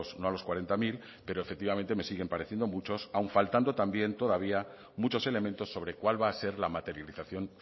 no a los cuarenta mil pero efectivamente me siguen pareciendo muchos aun faltando también todavía muchos elementos sobre cuál va a ser la materialización